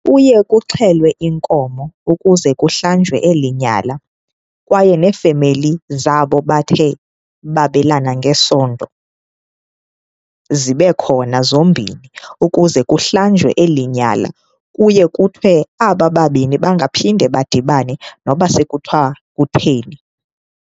Kuye kuxhelwe inkomo ukuze kuhlanjwe eli nyala kwaye neefemeli zabo bathe babelana ngesondo zibe khona zombini ukuze kuhlanjwe eli nyala. Kuye kuthiwe aba babini bangaphinde badibane noba sekuthiwa kutheni.